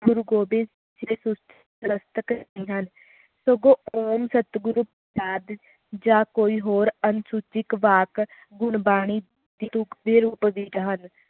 ਗੁਰੂ ਗੋਬਿੰਦ ਸਿੰਹ ਜੀ ਹਨ ਸਗੋਂ ਓਮ ਸਤਿਗੁਰੂ ਆ ਕੋਈ ਹੋਰ ਅਨੁਸੂਚਿਤ ਵਾਕ ਗੁਰਬਾਣੀ ਦੀ ਤੁਕ ਦ ਰੂਪ ਵਿਚ ਹਨ